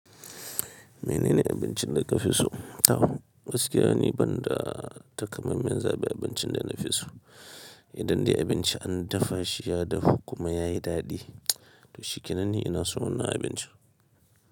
Menene abincin da ka fi so? A'a, gaskiya ne banda takamaiman zaɓi abincin da na fi so. Idan dai abinci an dafa shi ya dahu kuma ya yi daɗi, to shi kenan ni ina son wannan abinci.